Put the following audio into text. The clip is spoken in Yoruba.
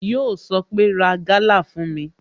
Yọ sọ pé "Ra Gala fún mi"